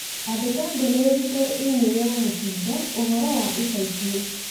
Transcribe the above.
Andĩka ndũmĩrĩri kũrĩ i-mīrū ya Mutinda ũhoro wa ica ikuhi